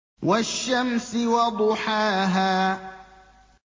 وَالشَّمْسِ وَضُحَاهَا